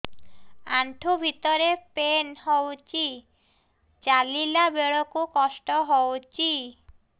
ଆଣ୍ଠୁ ଭିତରେ ପେନ୍ ହଉଚି ଚାଲିଲା ବେଳକୁ କଷ୍ଟ ହଉଚି